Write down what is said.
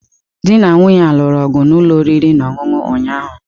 Di na nwunye a lụrụ ọgụ na ụlọ oriri na ọṅụṅụ ụnyaahụ.